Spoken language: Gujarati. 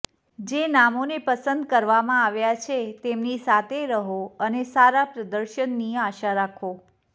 જે નામોને પસંદ કરવામાં આવ્યા છે તેમની સાથે રહો અને સારા પ્રદર્શનની આશા રાખો